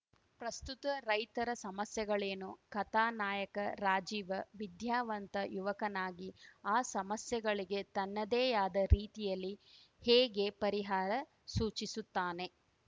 ಪ್ರಸ್ತುತ ರೈತರ ಸಮಸ್ಯೆಗಳೇನು ಕಥಾ ನಾಯಕ ರಾಜೀವ ವಿದ್ಯಾವಂತ ಯುವಕನಾಗಿ ಆ ಸಮಸ್ಯೆಗಳಿಗೆ ತನ್ನದೇ ಆದ ರೀತಿಯಲ್ಲಿ ಹೇಗೆ ಪರಿಹಾರ ಸೂಚಿಸುತ್ತಾನೆ